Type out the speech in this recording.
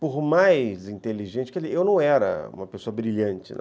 Por mais inteligente que ele... Eu não era uma pessoa brilhante, não.